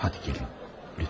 Haydi gəlin.